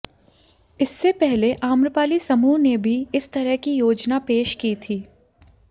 इससे पहले आम्रपाली समूह ने भी इस तरह की योजना पेश की थी